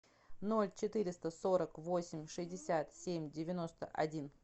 ноль четыреста сорок восемь шестьдесят семь девяносто один